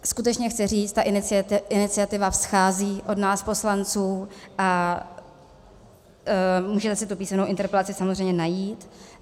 Skutečně chci říct, ta iniciativa vzchází od nás poslanců a můžete si tu písemnou interpelaci samozřejmě najít.